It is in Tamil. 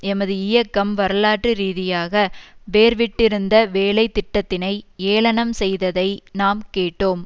எமது இயக்கம் வரலாற்று ரீதியாக வேர்விட்டிருந்த வேலைத்திட்டத்தினை ஏளனம் செய்ததை நாம் கேட்டோம்